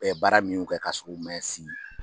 Ɛ baara minw kɛ ka sɔrɔ u mɛn si.